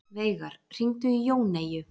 Veigar, hringdu í Jóneyju.